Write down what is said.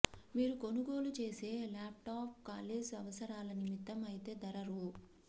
మీరు కొనుగోలు చేసే ల్యాప్టాప్ కాలేజ్ అవసరాలనిమిత్తం అయితే ధర రూ